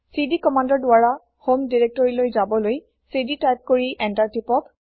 CD কমান্দৰ দ্বাৰা হম দিৰেক্তৰিলৈ যাবলৈ চিডি তাইপ কৰি এন্তাৰ টিপক